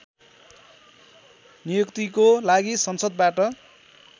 नियुक्तिको लागि संसदबाट